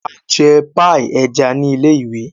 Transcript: A jẹ paii ẹja ni ilé-ìwé.